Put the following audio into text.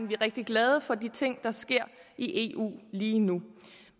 vi er rigtig glade for de ting der sker i eu lige nu